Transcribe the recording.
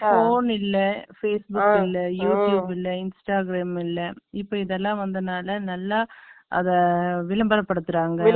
Phone இல்லை, Facebook இல்லை, YouTube இல்லை, Instagram இல்லை. இப்ப, இதெல்லாம் வந்ததுனால, நல்லா, விளம்பரப்படுத்துறாங்க